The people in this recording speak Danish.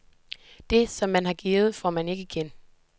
Det, som man har givet, får man jo ikke igen.